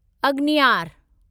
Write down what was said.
अग्नियार